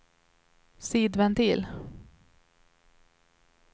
sidventil